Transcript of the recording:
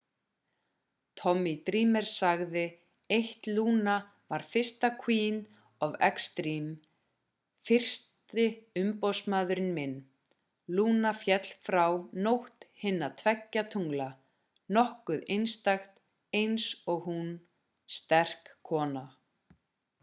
tommy dreamer sagði 1luna var fyrsta queen of extreme fyrsti umboðsmaður minn luna féll frá nótt hinna tveggja tungla nokkuð einstakt eins oghún sterk kona